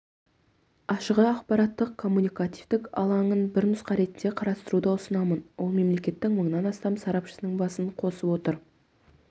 ашықі ақпараттық-коммуникативтік алаңын бір нұсқа ретінде қарастыруды ұсынамын ол мемлекеттің мыңнан астам сарапшысыныңбасын қосып отыр